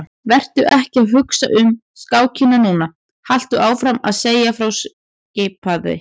Vertu ekki að hugsa um skákina núna, haltu áfram að segja frá skipaði